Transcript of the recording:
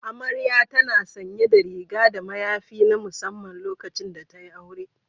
Amarya tana sanye da riga da mayafi na musamman lokacin da tayi aure.